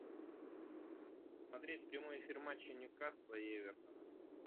смотреть прямой эфир матча ньюкасла и эвертона